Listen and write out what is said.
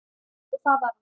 Og það var hann.